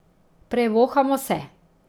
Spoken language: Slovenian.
Prevohamo se.